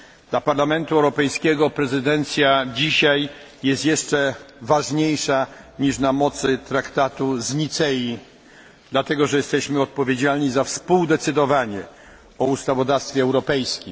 Dla Parlamentu Europejskiego prezydencja dzisiaj jest jeszcze ważniejsza niż na mocy traktatu z Nicei, dlatego że jesteśmy odpowiedzialni za współdecydowanie o ustawodawstwie europejskim.